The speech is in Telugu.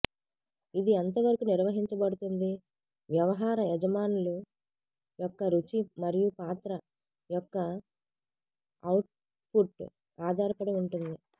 ఇది ఎంతవరకు నిర్వహించబడుతుంది వ్యవహార యజమానులు యొక్క రుచి మరియు పాత్ర యొక్క అవుట్పుట్ ఆధారపడి ఉంటుంది